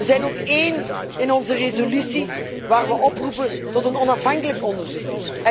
We zijn ook één in onze resolutie waar we oproepen tot een onafhankelijk onderzoek.